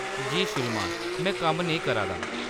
जी श्रीमान। में कम्म नेईं करा दा ।